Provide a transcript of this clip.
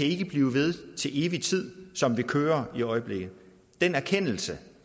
ikke kan blive ved til evig tid som det kører i øjeblikket den erkendelse